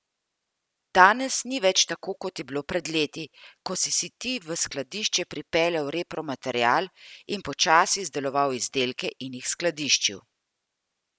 Danes ni več tako kot je bilo pred leti, ko si si ti v skladišče pripeljal repromaterial in počasi izdeloval izdelke in jih skladiščil.